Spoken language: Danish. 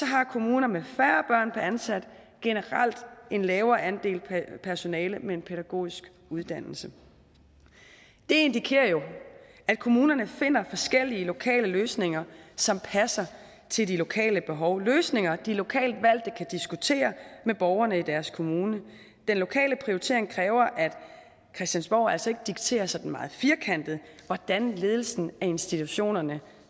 har kommuner med færre børn per ansat generelt en lavere andel personale med en pædagogisk uddannelse det indikerer jo at kommunerne finder forskellige lokale løsninger som passer til de lokale behov løsninger de lokalt valgte kan diskutere med borgerne i deres kommune den lokale prioritering kræver at christiansborg altså ikke dikterer sådan meget firkantet hvordan ledelsen af institutionerne